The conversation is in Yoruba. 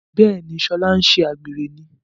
Béèni ṣe Shola nṣe àgbèrè ní.